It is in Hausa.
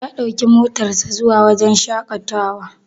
Ya ɗauki motar sa zuwa wajen shaƙatawar.